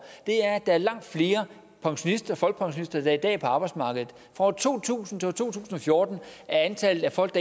er at der er langt flere folkepensionister der i dag er på arbejdsmarkedet fra to tusind til to tusind og fjorten er antallet af folk